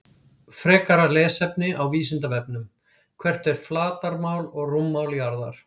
Frekara lesefni á Vísindavefnum: Hvert er flatarmál og rúmmál jarðar?